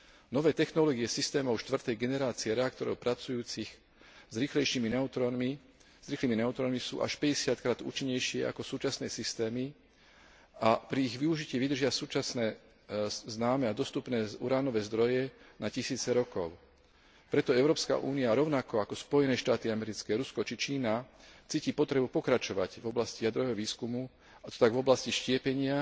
Nové technológie systémov štvrtej generácie reaktorov pracujúcich s rýchlymi neutrónmi sú až päťdesiatkrát účinnejšie ako súčasné systémy a pri ich využití vydržia súčasne známe a dostupné uránové zdroje na tisíce rokov. Preto Európska únia rovnako ako Spojené štáty americké, Rusko či Čína cíti potrebu pokračovať v oblasti jadrového výskumu, a to tak v oblasti štiepenia,